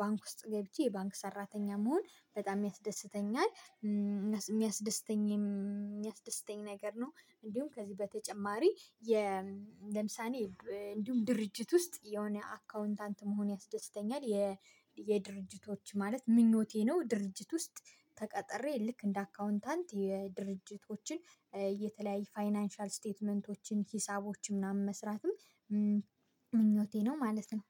ባንክ ውስጥ ገብቼ የባንክ ሰራተኛ መሆን በጣም ያስደስተኛል። የሚያስደስተኝ የሚያስደስተኝ ነገር ነው። እንዲሁም ከዚህ በተጨማሪ የ ለምሳሌ እንዲሁም ድርጅት ውስጥ የሆነ አካውንታንት መሆን ያስደስተኛል። የ የድርጅቶች ማለት ምኞቴ ነው። ድርጅት ውስጥ ተቀጥሬ ልክ እንደ አካውንታንት የድርጅቶችን የተለያየ ፋይናንሻል ስቴትመንቶችን ሂሳቦችን ምናምን መስራትም ምኞቴ ነው። ማለት ነው።